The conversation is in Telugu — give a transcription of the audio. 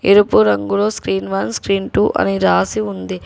ఎరుపు రంగులో స్క్రీన్ వన్ స్క్రీన్ టు అని రాసి ఉంది.